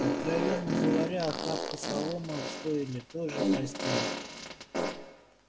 откровенно говоря охапка соломы в стойле тоже постель